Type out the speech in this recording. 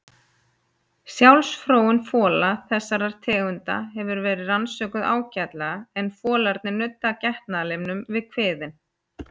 Sjálfsfróun fola þessara tegunda hefur verið rannsökuð ágætlega en folarnir nudda getnaðarlimnum við kviðinn.